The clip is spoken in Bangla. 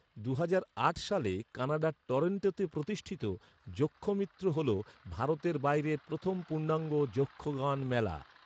দুহাজার আট সালে কানাডার টরন্টোতে প্রতিষ্ঠিত, যক্ষমিত্র হল ভারতের বাইরের প্রথম পূর্ণাঙ্গ যক্ষগান মেলা।